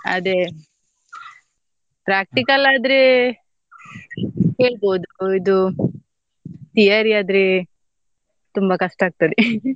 ಅದೇ practical ಆದ್ರೆ ಕೇಳ್ಬೋದು, ಇದು theory ಆದ್ರೆ ತುಂಬಾ ಕಷ್ಟ ಆಗ್ತದೆ